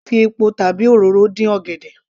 A lè fi epo tàbi òróró dín ọ̀gẹ̀dẹ̀